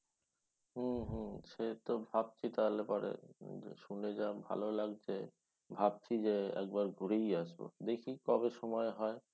হম হম সে তো ভাবছি তাহলে পরে উম যে শুনে যা ভালো লাগছে ভাবছি যে একবার ঘুরেই আসব দেখি কবে সময় হয়